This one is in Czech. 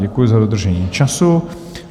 Děkuji za dodržení času.